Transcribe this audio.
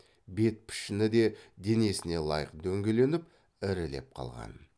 бет пішіні де денесіне лайық дөңгеленіп ірілеп қалған